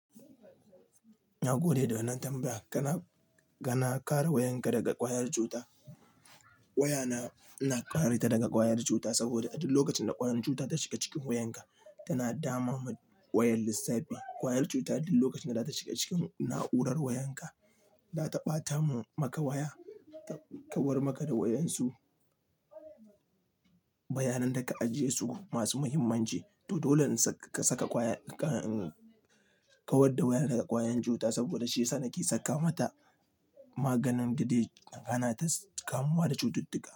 Na gode da wannan tambaya. Kana, kana kare wayanka daga ƙwayar cuta. Wayana ina kare ta daga ƙwayar cuta saboda a duk lokacin da ƙwayar cuta ta shiga cikin wayanka, tana dama ma wayar lissafi. Ƙwayar cuta duk lokacin da ta shiga cikin na'urar wayanka, ta ɓata maka waya, ta kawar maka da wayansu bayanan da ka ajiye su masu muhimmanci. To dole ka saka ƙwaya, ka, ka kawad da waya daga ƙwayan cuta saboda shi yasa nake saka mata maganin gade, hana ta kamuwa da cututtuka.